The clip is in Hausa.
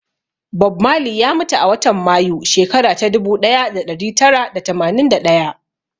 Bob Marley ya mutu a watan Mayu, shekara ta ɗubu ɗaya da ɗari tara da tamanin da ɗaya.